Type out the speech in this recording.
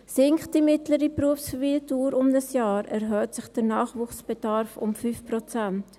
Sinkt die mittlere Berufsverweildauer um ein Jahr, erhöht sich der Nachwuchsbedarf um 5 Prozent.